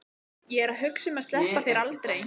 Ég er að hugsa um að sleppa þér aldrei.